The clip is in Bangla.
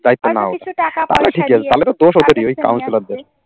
দায়িত্ব নেওয়া হবে।